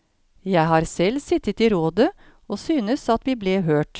Jeg har selv sittet i rådet, og synes at vi ble hørt.